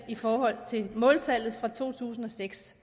i forhold til måltallet fra to tusind og seks